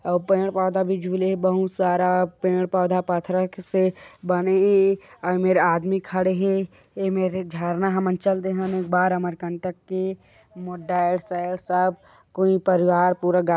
आउ पेड़ पौधा भी झूले हे बहुत सारा पेड़ पौधा पथरा से बने हे आउ एमेर आदमी खड़े हे एमेर एक झरना हमन चल देहन एक बार अमरकंटक के मोर डैड सैड सब कोई परिवार पूरा--